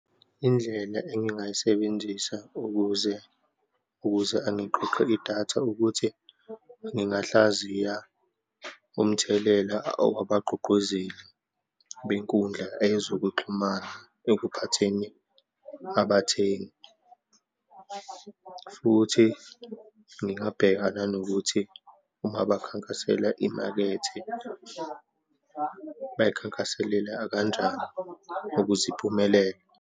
Indlela engingayisebenzisa ukuze, ukuze angiqoqe idatha ukuthi ngingahlaziya umthelela owabagqugquzeli benkundla eyezokuxhumana ekuphatheni abathengi, futhi ngingabheka nanokuthi uma bakhankasela imakethe, bayikhankaselela akanjani ukuze imphumelele.